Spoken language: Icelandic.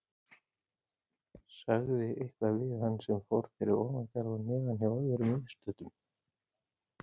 Sagði eitthvað við hann sem fór fyrir ofan garð og neðan hjá öðrum viðstöddum.